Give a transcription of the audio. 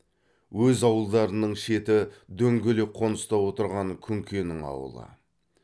өз ауылдарының шеті дөңгелек қоныста отырған күнкенің ауылы